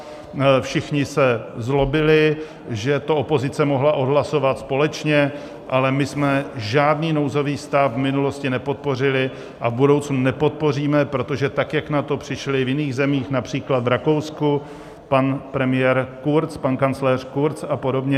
Všichni se zlobili, že to opozice mohla odhlasovat společně, ale my jsme žádný nouzový stav v minulosti nepodpořili a v budoucnu nepodpoříme, protože tak, jak na to přišli v jiných zemích, například v Rakousku, pan premiér Kurz, pan kancléř Kurz, a podobně.